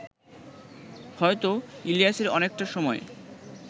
হয়তো ইলিয়াসের অনেকটা সময়